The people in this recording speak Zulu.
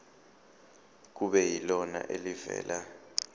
kube yilona elivela